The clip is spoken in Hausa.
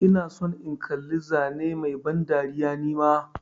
Ina son in kalla zane Mai ban dariya nima.